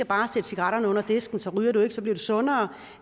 bare cigaretterne under disken så ryger du ikke og så bliver du sundere